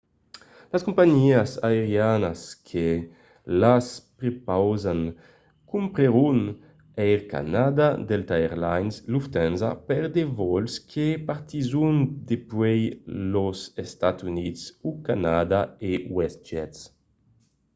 las companhiás aerianas que las prepausan comprenon air canada delta air lines lufthansa per de vòls que partisson dempuèi los estats units o canadà e westjet